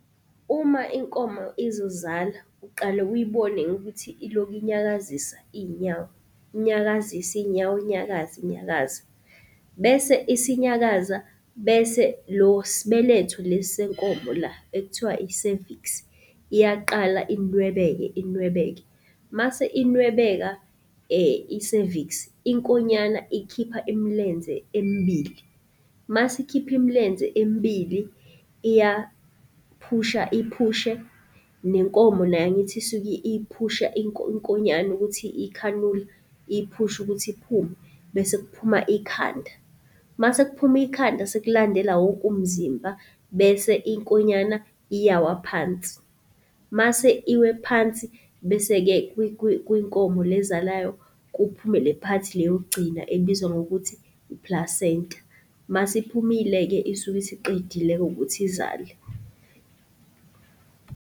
Uma inkomo izozala, uqale uyibone ngokuthi ilokhu inyakazisa iy'nyawo, inyakazisa iy'nyawo inyakaza inyakaza. Bese isinyakaza, bese lo sibeletho lesi senkomo la ekuthiwa iseviksi iyaqala inwebeke inwebeke. Mase inwebeka, iseviksi inkonyana ikhipha imilenze emibili, masikhipha imilenze emibili iyaphusha iphushe, nenkomo nayo angithi isuke iphusha inkonyane ukuthi ikhanula, iyiphushe ukuthi iphume bese kuphuma ikhanda. Masekuphume ikhanda, sekulandela wonke umzimba bese ikhonyana iyawa phansi. Mase iwe phansi, bese-ke kwinkomo le ezalayo kuphume le part le yokugcina ebizwa ngokuthi i-placenta. Mase iphumile-ke isuke isiqedile-ke ukuthi izale.